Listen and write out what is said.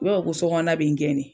I b'a fɔ ko sokɔnɔna bɛ n gɛnnen.